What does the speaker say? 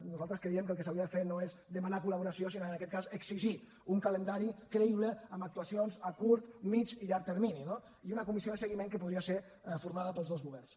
nosaltres creiem que el que s’hauria de fer no és demanar col·laboració sinó en aquest cas exigir un calendari creïble amb actuacions a curt mitjà i llarg termini no i una comissió de seguiment que podria ser formada pels dos governs